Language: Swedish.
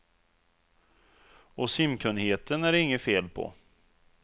Och simkunnigheten är det inget fel på.